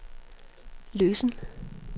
løsen